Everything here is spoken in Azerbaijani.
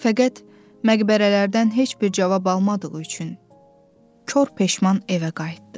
Fəqət məqbərələrdən heç bir cavab almadığı üçün kor peşman evə qayıtdı.